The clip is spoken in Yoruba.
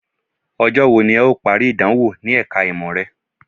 Ọjọ́ wo ni ẹ̀ ó parí ìdánwò ní ẹ̀ka ìmọ̀ rẹ?